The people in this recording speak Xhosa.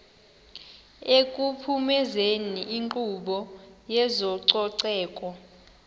ekuphumezeni inkqubo yezococeko